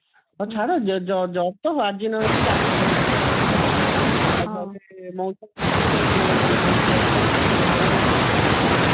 ହଉ ଛାଡ ଯଦି ତ ଆଜି ନ ହେଇଛି କାଲିକି ହବ ସେଟା ଗୋଟେ ବଡ କଥା ନୁହେଁ କେମିତି ଅଛନ୍ତି ତମ ଭଉଣୀ କେମିତି ଅଛି